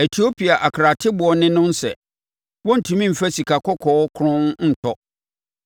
Etiopia akarateboɔ ne no nsɛ; wɔrentumi mfa sikakɔkɔɔ kronn ntɔ.